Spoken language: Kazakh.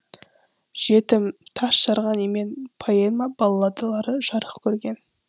жетім тас жарған емен поэма балладалары жарық көрген